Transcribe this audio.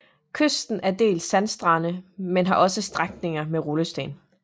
Kysten er dels sandstrand men har også strækninger med rullesten